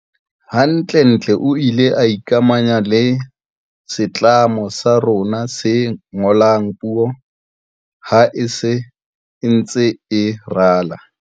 Hantle-ntle o ile a ikamahanya le setlamo sa rona se ngolang puo ha se ntse e rala.